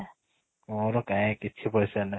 ମୋର କାଇଁ କିଛି ପଇସା ନାଇଁ